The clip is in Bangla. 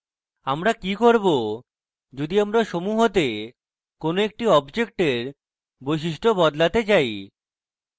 আমরা কি করব যদি আমরা সমূহতে কোনো একটি অবজেক্টের বৈশিষ্ট্য বদলাতে চাই